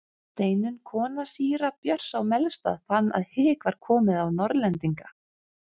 Steinunn kona síra Björns á Melstað fann að hik var komið á Norðlendinga.